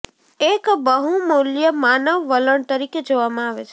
એક બહુમૂલ્ય માનવ વલણ તરીકે જોવામાં આવે છે